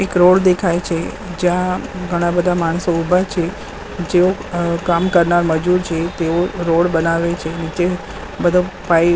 એક રોડ દેખાય છે જ્યાં ઘણા બધા માણસો ઉભા છે જે અ કામ કરનાર મજુર છે તેઓ રોડ બનાવે છે નીચે બધો પાઈપ --